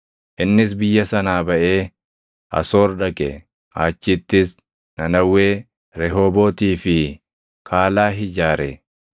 Innis biyya sanaa baʼee Asoor dhaqe; achittis Nanawwee, Rehoobootii fi Kaalahi ijaare;